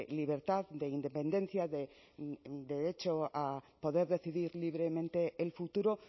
libertad de independencia de derecho a poder decidir libremente el futuro